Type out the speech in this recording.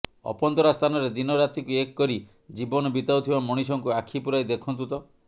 ଅପନ୍ତରା ସ୍ଥାନରେ ଦିନ ରାତିକୁ ଏକ କରି ଜୀବନ ବିତାଉଥିବା ମଣିଷଙ୍କୁ ଆଖି ପୂରାଇ ଦେଖନ୍ତୁ ତ